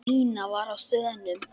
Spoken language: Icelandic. Nína var á þönum.